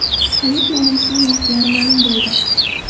Hayit namozining vaqtlari ma’lum bo‘ldi.